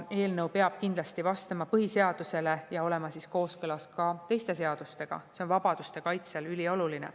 Eelnõu peab kindlasti vastama põhiseadusele ja olema kooskõlas ka teiste seadustega, see on vabaduste kaitsel ülioluline.